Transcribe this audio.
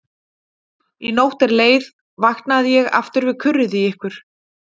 Í nótt er leið vaknaði ég aftur við kurrið í ykkur.